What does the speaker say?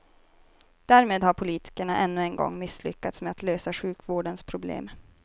Därmed har politikerna ännu en gång misslyckats med att lösa sjukvårdens problem.